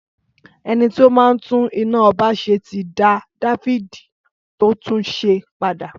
Ẹnití ó máa ń tún iná ọba ṣe ti dà difidi tó túnsẹ pàdá